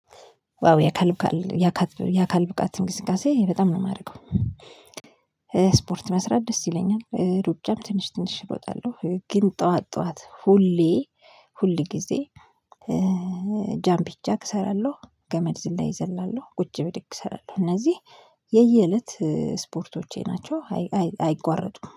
ዋው የአካል የአካል የአካል ብቃት እንቅስቃሴ በጣም ነው የማደርገው። ስፖርት መስራት ደስ ይለኛል ሩጫም ትንሽ ትንሽ እሮጣለሁ ግን ጠዋት ጠዋት ሁሌ ሁል ጊዜ። ጃምፒ ጃክ እሰራለሁ ገመድ ዝላ እዘላለሁ ቁጭ ብድግ እሰራለሁ እነዚህ የየእለት ስፖርቶቼ ናቸው። አይቋረጡም